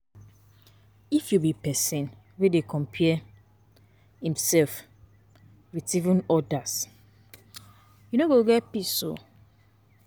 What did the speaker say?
If you be pesin wey dey compare imself with odas, you no go get peace.